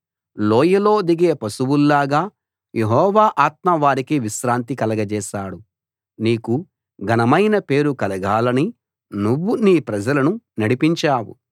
లోయలో దిగే పశువుల్లాగా యెహోవా ఆత్మ వారికి విశ్రాంతి కలగచేశాడు నీకు ఘనమైన పేరు కలగాలని నువ్వు నీ ప్రజలను నడిపించావు